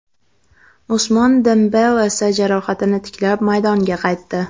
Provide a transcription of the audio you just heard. Usmon Dembele esa jarohatini tiklab, maydonga qaytdi.